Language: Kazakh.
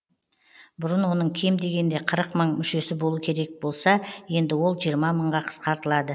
бұрын оның кем дегенде қырық мың мүшесі болу керек болса енді ол жиырма мыңға қысқартылады